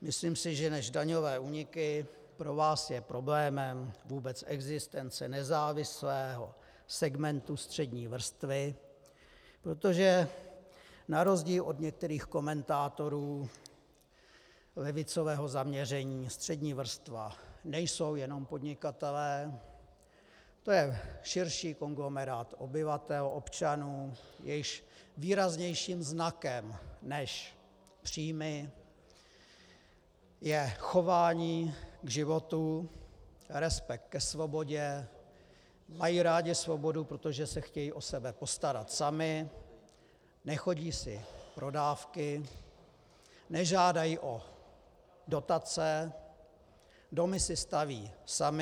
Myslím si, že než daňové úniky pro vás je problémem vůbec existence nezávislého segmentu střední vrstvy, protože na rozdíl od některých komentátorů levicového zaměření střední vrstva nejsou jenom podnikatelé, to je širší konglomerát obyvatel občanů, jejichž výraznějším znakem než příjmy je chování k životu, respekt ke svobodě, mají rádi svobodu, protože se chtějí o sebe postarat sami, nechodí si pro dávky, nežádají o dotace, domy si staví sami.